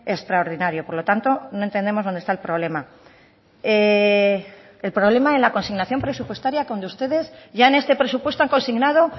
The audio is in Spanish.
extraordinario por lo tanto no entendemos dónde está el problema el problema en la consignación presupuestaria cuando ustedes ya en este presupuesto han consignado